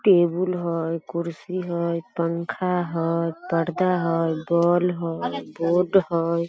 Table हई कुर्सी हई पंखा हई परदा हई बोल हई बोर्ड हई ।